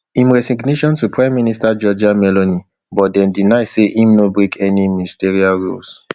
im resignation to prime minister georgia meloni but deny say im no break any ministerial rules